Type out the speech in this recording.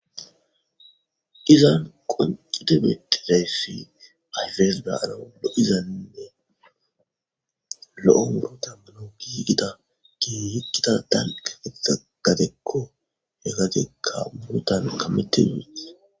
Izza wonccidi betizayiss ayiffes baro lo'izanne lo'o lo'ontta aggikko gigida gigettida dalgga gidida gaddekko .he gaddekka murutanni